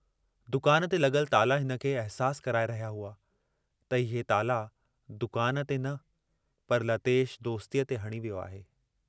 दुकान ते लगुल ताला हिनखे अहसासु कराए रहिया हुआ त इहे ताला दुकान ते न पर लतेश दोस्तीअ ते हणी वियो आहे।